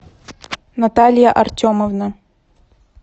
наталья артемовна